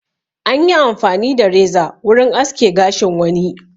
Anyi amfani da reza wurin aske gashin wani.